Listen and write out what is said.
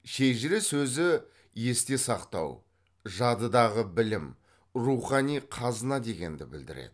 шежіре сөзі есте сақтау жадыдағы білім рухани қазына дегенді білдіреді